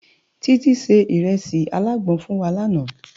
Titi sé irèsi àlágbòn fún wá làná